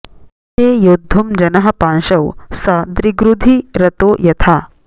हृते योद्धुं जनः पांशौ स दृग्रुधि रतो यथा